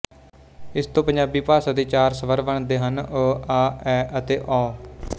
ਇਸ ਤੋਂ ਪੰਜਾਬੀ ਭਾਸ਼ਾ ਵਿੱਚ ਚਾਰ ਸਵਰ ਬਣਦੇ ਹਨ ਅ ਆ ਐਅਤੇ ਔ